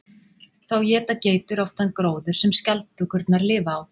Þá éta geitur oft þann gróður sem skjaldbökurnar lifa á.